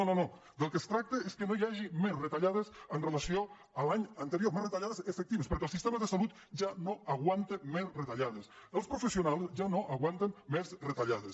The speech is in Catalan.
no no del que es tracta és que no hi hagi més retallades amb relació a l’any anterior més retallades efectives perquè el sistema de salut ja no aguanta més retallades els professionals ja no aguanten més retallades